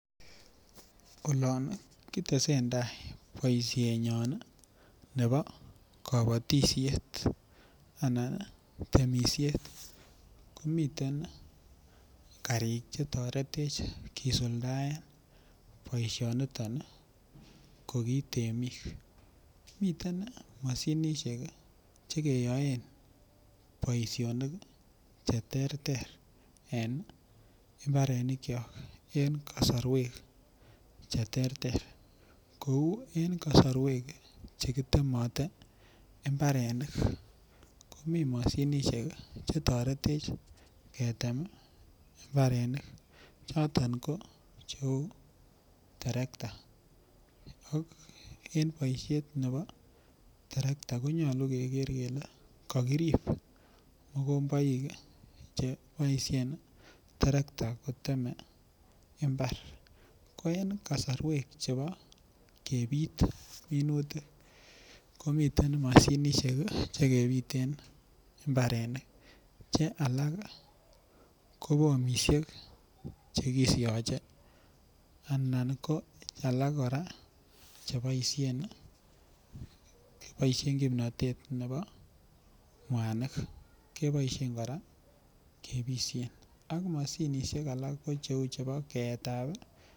Olon kitesen tai boisienyon ne bo kabatisiet anan temisiet komiten karik chetoretech kisuldaen boisioniton koki temik miten mashinishek chekeyoen boisionik cheterter en mbarinikyok en kasarwek cheterter kou en kasarwek chekitemoten mbarenik komii mashinishek chetorete ketem mbarenik choton ko cheu terekta en boisiet ne bo terekta konyolu keker kele kokirip mokomboik cheboisien terekta kotem mbar, ko en kasarwek chebo kebit minutik komiten mashinishek chekebiten mbarenik che alak ii ko bomishek chekisiache anan ko alak kora kocheboisien kipnotet ne bo mwanik keboisien kora kebishen ak mashinishek alak ko cheu chepo keetab tuka.